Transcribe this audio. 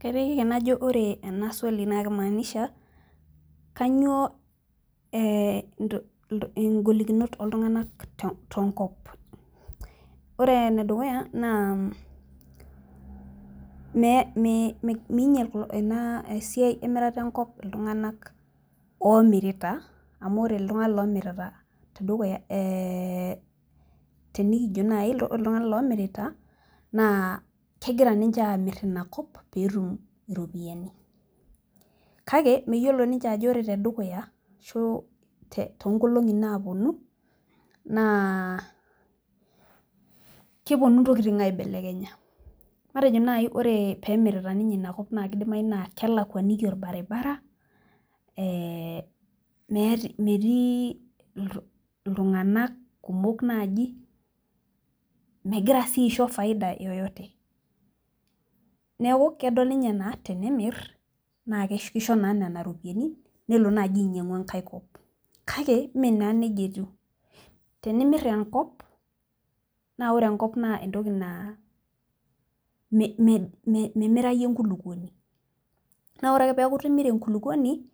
kaiteki ake najo ore ena swali naa kimaanisha, kainyioo ee ngolikinot ooltungank te nko, ore ene dukuya naa meinyial ena siai emirat enkop iltunganak oomiritaa, amu ore iltunganak oomirita te dukuya. tenikijo naji ore iltunganak oomirita kegira ninche aamir ina kop peetum iropiyiani. kake meyiolo ninche ajo ore tedukya ashu too nkolongi naaapuonu, naa kepuonu ntokitin aibelekenya. matejo naji kidimayu naa ore pee emirita ninye ina kop naa kelakuaniki olbaribara, ee metii iltunganak kumok naaji megira sii aisho faida yeyote neeku kedol ninye anaa ore tenemir naa kisho naa nena ropyiani nelo naa ainying'u enkae kop. kake mme naa nejia etiu, tenimr enkop naa ore enkop naa entoki naa memirayu enkulupuoni, naa ore ake peku itimira enkuluponi